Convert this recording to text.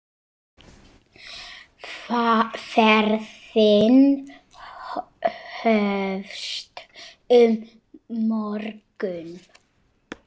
Ferðin hófst um morgun.